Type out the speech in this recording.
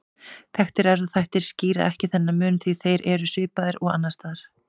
Þekktir erfðaþættir skýra ekki þennan mun því þeir eru svipaðir og annars staðar.